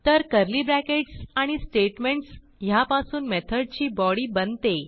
तर curly brackets आणि statements ह्यापासून मेथडची बॉडी बनते